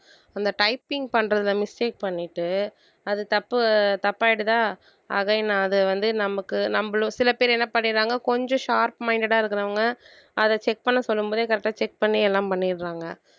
அந்த typing பண்றதை mistake பண்ணிட்டு அது தப்பு தப்பாயிடுதா again அது வந்து நமக்கு நம்மளும் சில பேர் என்ன பண்ணிடுறாங்க கொஞ்சம் sharp minded ஆ இருக்கிறவங்க அதை check பண்ண சொல்லும் போதே correct ஆ check பண்ணி எல்லாம் பண்ணிடுறாங்க